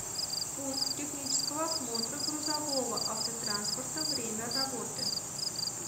пункт технического осмотра грузового автотранспорта время работы